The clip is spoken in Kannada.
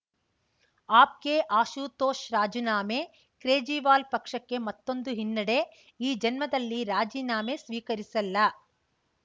ಆಪ್‌ಗೆ ಆಶುತೋಷ್‌ ರಾಜೀನಾಮೆ ಕ್ರೇಜಿವಾಲ್‌ ಪಕ್ಷಕ್ಕೆ ಮತ್ತೊಂದು ಹಿನ್ನಡೆ ಈ ಜನ್ಮದಲ್ಲಿ ರಾಜೀನಾಮೆ ಸ್ವೀಕರಿಸಲ್ಲ